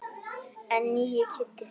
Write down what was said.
En nýi Kiddi.